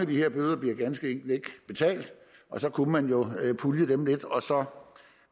de her bøder bliver ganske enkelt ikke betalt og så kunne man jo pulje dem lidt og så